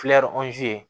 ye